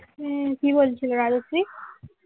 হম কি বলছিল রাজশ্রী